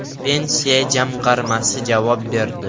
Pensiya jamg‘armasi javob berdi.